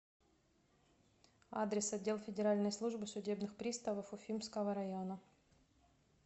адрес отдел федеральной службы судебных приставов уфимского района